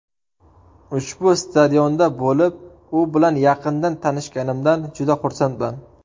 Ushbu stadionda bo‘lib, u bilan yaqindan tanishganimdan juda xursandman.